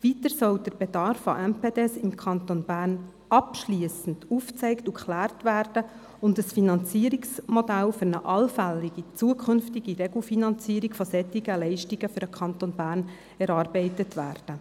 Weiter soll der Bedarf an MPD im Kanton Bern abschliessend aufgezeigt und geklärt sowie ein Finanzierungsmodell für eine allfällige zukünftige Regelfinanzierung solcher Leistungen für den Kanton Bern erarbeitet werden.